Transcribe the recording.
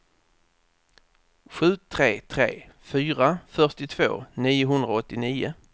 sju tre tre fyra fyrtiotvå niohundraåttionio